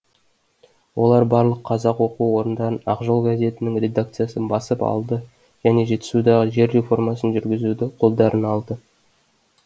олар барлық қазақ оқу орындарын ақжол газетінің редакциясын басып алды және жетісудағы жер реформасын жүргізуді қолдарына алды